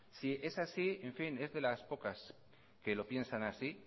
si es así es de las pocas que lo piensan así